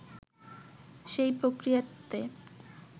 সেই প্রক্রিয়াতে